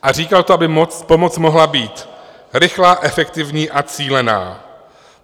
A říkal to, aby pomoc mohla být rychlá, efektivní a cílená.